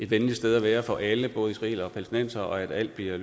venligt sted at være for alle både israelere og palæstinensere og at alt bliver